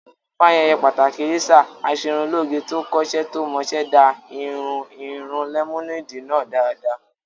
Fún ayẹyẹ pàtàkì Lisa, Aṣerunlóge tó kọ́ iṣẹ́ tó mọ iṣẹ́ dá ìhun irun lẹ́mọ́néèdì náà dáadáa